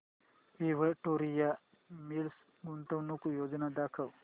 Victoria Mills गुंतवणूक योजना दाखव